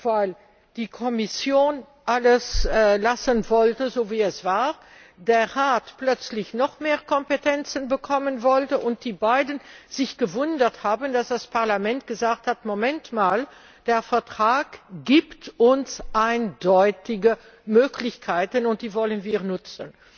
weil die Kommission alles so lassen wollte, wie es war, der Rat plötzlich noch mehr Kompetenzen bekommen wollte und die beiden sich gewundert haben, dass das Parlament gesagt hat Moment mal, der Vertrag gibt uns eindeutige Möglichkeiten, und die wollen wir nutzen!